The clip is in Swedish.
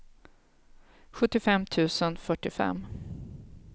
sjuttiofem tusen fyrtiofem